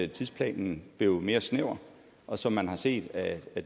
tidsplanen blev mere snæver og som man har set af